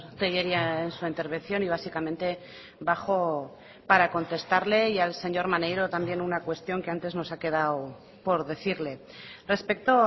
tellería en su intervención y básicamente bajo para contestarle y al señor maneiro también una cuestión que antes nos ha quedado por decirle respecto